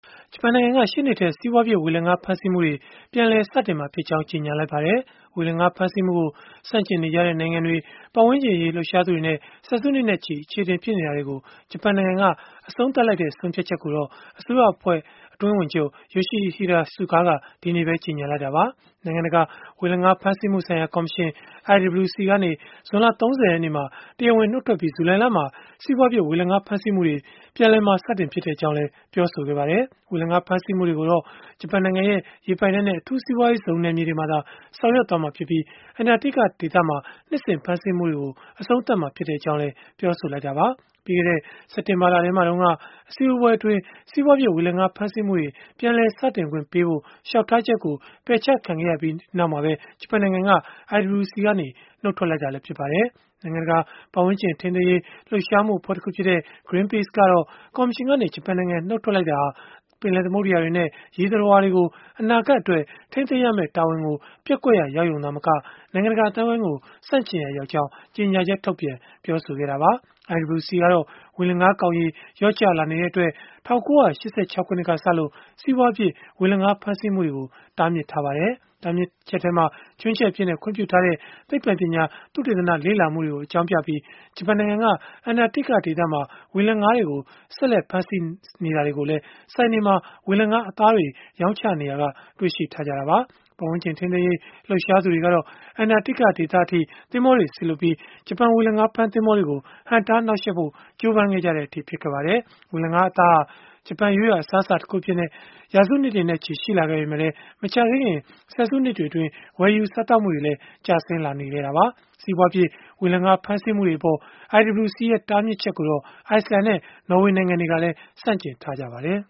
ဂျပန်နိုင်ငံက ရှေ့နှစ်ထဲ စီးပွားဖြစ် ဝေလငါးဖမ်းဆီးမှုတွေ ပြန်လည်စတင်မှာဖြစ်ကြောင်း ကြေညာလိုက်ပါတယ်။ ဝေလငါးဖမ်းဆီးမှုကို ဆန့်ကျင်နေကြတဲ့ နိုင်ငံတွေ၊ ပတ်ဝန်းကျင်အရေး လှုပ်ရှားသူတွေနဲ့ ဆယ်စုနှစ်နဲ့ချီ အချေအတင် ဖြစ်နေတာတွေကို ဂျပန်နိုင်ငံက အဆုံးသတ်လိုက်တဲ့ ဆုံးဖြတ်ချက်ကို အစိုးရအဖွဲ့ အတွင်းဝန်ချုပ် Yoshihide Suga က ဒီနေ့ပဲ ကြေညာလိုက်တာပါ။ နိုင်ငံတကာ ဝေလငါး ဖမ်းဆီးမှုဆိုင်ရာ ကော်မရှင် (IWC) ကနေ ဇွန်လ ၃၀ ရက်နေ့မှာ တရားဝင် နှုတ်ထွက်ပြီး၊ ဇူလိုင်လမှာ စီးပွားဖြစ် ဝေလငါးဖမ်းဆီးမှုတွေ ပြန်လည်စတင်မှာ ဖြစ်ကြောင်းလည်း ပြောဆိုခဲ့ပါတယ်။ ဝေလငါးဖမ်းဆီးမှုတွေကိုတော့ ဂျပန်နိုင်ငံရဲ့ ရေပိုင်နက်နဲ့ အထူးစီးပွားရေးဇုန် နယ်မြေတွေမှာသာ ဆောင်ရွက်သွားမှာဖြစ်ပြီး၊ အန္တာတိကဒေသမှာ နှစ်စဉ်ဖမ်းဆီးမှုတွေကို အဆုံးသတ်မှာ ဖြစ်ကြောင်းလည်း ပြောဆိုခဲ့တာပါ။ ပြီးခဲ့တဲ့ စက်တင်ဘာလထဲမှာတုန်းက အစည်းအဝေးပွဲအတွင်း စီးပွားဖြစ် ဝေလငါးဖမ်းဆီးမှုတွေ ပြန်လည်စတင်ခွင့်ပြုဖို့ လျှောက်ထားချက်ကို ပယ်ချခံခဲ့ရပြီးနောက် ဂျပန်နိုင်ငံက IWC ကနေ နှုတ်ထွက်လိုက်တာလည်း ဖြစ်ပါတယ်။ နိုင်ငံတကာ ပတ်ဝန်းကျင် ထိန်းသိမ်းရေး လှုပ်ရှားမှုအဖွဲ့တခုဖြစ်တဲ့ Greenpeace ကတော့ ကော်မရှင်ကနေ ဂျပန်နိုင်ငံ နှုတ်ထွက်တာဟာ ပင်လယ်သမုဒ္ဒရာတွေနဲ့ ရေသတ္တဝါတွေကို အနာဂတ်အတွက် ထိန်းသိမ်းရမယ့် တာဝန်ကို ပျက်ကွက်ရာရောက်ရုံ သာမက၊ နိုင်ငံတကာ အသိုင်းအဝန်းကို ဆန့်ကျင်ရာရောက်ကြောင်း ကြေညာချက်ထုတ်ပြန် ပြောဆိုခဲ့တာပါ။ IWC ကတော့ ဝေလငါးကောင်ရေ လျော့ကျလာနေတဲ့အတွက် ၁၉၈၆ ခုနှစ်ကစလို့ စီးပွားဖြစ် ဝေလငါး ဖမ်းဆီးမှုကို တားမြစ်ထားပါတယ်။ တားမြစ်ချက်ထဲမှာ ခြွင်းချက်အဖြစ် ခွင့်ပြုထားတဲ့ သိပ္ပံပညာသုတေသန လေ့လာမှုတွေကို အကြောင်းပြပြီး ဂျပန်နိုင်ငံက အန္တာတိကဒေသမှာ ဝေလငါးတွေကို ဆက်လက် ဖမ်းဆီးနေတာကိုလည်း ဆိုင်တွေမှာ ဝေလငါးအသားတွေ ရောင်းချနေရာက တွေ့ရှိထားကြတာပါ။ ပတ်ဝန်းကျင်ထိန်းသိမ်းရေး လှုပ်ရှားသူတွေ ကတော့ အန္တာတိက ဒေသ အထိ သင်္ဘောတွေ စေလွှတ်ပြီး၊ ဂျပန်ဝေလငါးဖမ်း သင်္ဘောတွေကို ဟန့်တားနှောက်ယှက်ဖို့ ကြိုးပမ်းခဲ့ကြတဲ့အထိ ဖြစ်ခဲ့ပါတယ်။ ဝေလငါးအသားဟာ ဂျပန်ရိုးရာ အစားအစာတခု အဖြစ် ရာစုနှစ်တွေနဲ့ချီ ရှိလာခဲ့ပေမဲ့၊ မကြာသေးခင် ဆယ်စုနှစ်တွေအတွင်း ဝယ်ယူစားသောက်မှုတွေလည်း ကျဆင်းလာနေတာပါ။ စီးပွားဖြစ် ဝေလငါး ဖမ်းဆီးမှုအပေါ် IWC ရဲ့ တားမြစ်ချက်ကိုတော့ အိုက်စ်လန်နဲ့ နော်ဝေနိုင်ငံတွေ ကလည်း ဆန့်ကျင်ထားကြပါတယ်